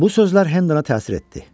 Bu sözlər Hendena təsir etdi.